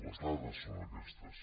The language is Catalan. les dades són aquestes